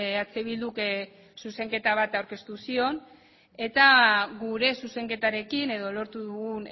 eh bilduk zuzenketa bat aurkeztu zion eta gure zuzenketarekin edo lortu dugun